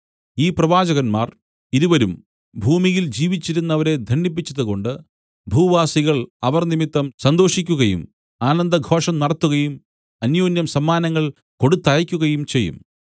ഈ പ്രവാചകന്മാർ ഇരുവരും ഭൂമിയിൽ ജീവിച്ചിരുന്നവരെ ദണ്ഡിപ്പിച്ചതുകൊണ്ട് ഭൂവാസികൾ അവർ നിമിത്തം സന്തോഷിക്കുകയും ആനന്ദഘോഷം നടത്തുകയും അന്യോന്യം സമ്മാനങ്ങൾ കൊടുത്തയയ്ക്കുകയും ചെയ്യും